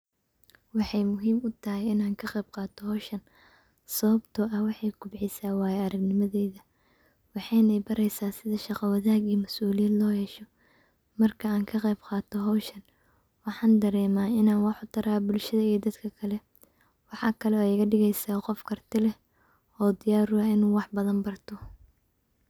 Waxay muhiim u tahay inaan ka qayb qaata hawshan sababto ah waxay kobcisa waaya aragnimadayda waxayna i baraysa sida shaqa wanaag iyo mas'uliyiin loo yeesho marka aan ka qayb qaata hawshan waxaan dareema inaan wax u tara bulshadayda iyo dadka kale waxaa kalo igadigaysa qof karti leh oo diyar u ah inu wax badan barto.